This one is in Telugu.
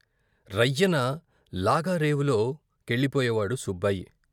రయ్యిన లాగా రేవులో కెళ్ళిపోయేవాడు సుబ్బాయి.